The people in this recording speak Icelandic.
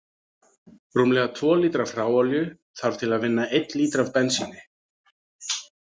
Rúmlega tvo lítra af hráolíu þarf til að vinna einn lítra af bensíni.